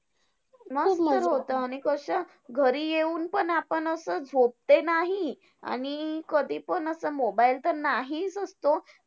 मस्त होतं आणि कसं घरी येऊन पण आपण असं झोपते नाही आणि कधीपण असं mobile तर नाहीच असतो.